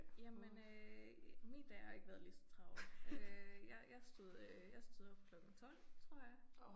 Jamen øh min dag har ikke været ligeså travl. Øh jeg jeg stod øh jeg stod op klokken 12 tror jeg